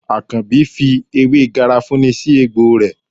Àkànbí fi ewé garafuni sì egbò rẹ.